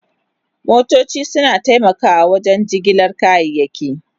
Motoci suna taimakawa wajen jigilar kayayyaki.